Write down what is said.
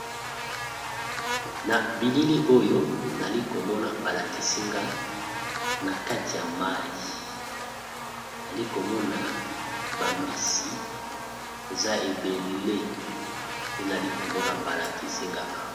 Na bilili oyo, nali komona balakisi nga na kati ya mai. Nali komona bambisi eza ebele. Nali komona balakisinga awa.